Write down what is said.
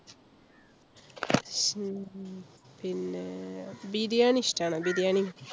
ഹും പിന്നെ ബിരിയാണി ഇഷ്ടം ആണോ ബിരിയാണി?